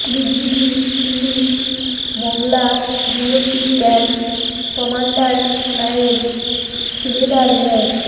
BGB হিলির Mongla BOP camp commander নায়েব সুবেদার মোঃ